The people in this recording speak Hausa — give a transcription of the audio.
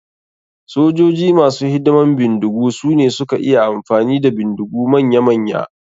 Sojoji masu hidiman bindigu sune suka iya amfani da bindigu manya manya.